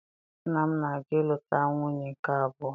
Nna m na-aga ịlụta nwunye nke abụọ